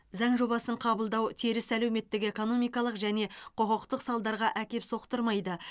заң жобасын қабылдау теріс әлеуметтік экономикалық және құқықтық салдарға әкеп соқтырмайды